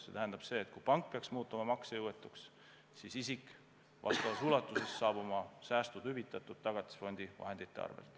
See tähendab seda, et kui pank peaks muutuma maksejõuetuks, siis isiku säästud kaetakse vastavas ulatuses Tagatisfondi vahendite arvel.